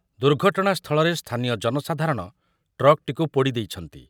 ଦୁର୍ଘଟଣାସ୍ଥଳରେ ସ୍ଥାନୀୟ ଜନସାଧାରଣ ଟ୍ରକ୍‌ଟିକୁ ପୋଡ଼ି ଦେଇଛନ୍ତି ।